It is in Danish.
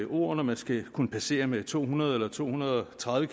ord når man skal kunne passere med to hundrede eller to hundrede og tredive